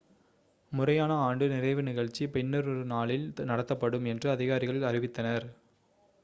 முறையான ஆண்டு நிறைவு நிகழ்ச்சி பின்னொரு நாளில் நடத்தப்படும் என்று அதிகாரிகள் அறிவித்தனர்